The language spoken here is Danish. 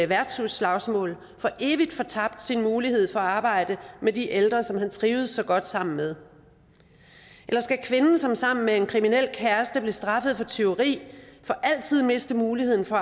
værtshusslagsmål for evigt fortabt sin mulighed for at arbejde med de ældre som han trivedes så godt sammen med eller skal kvinden som sammen med en kriminel kæreste blev straffet for tyveri for altid miste muligheden for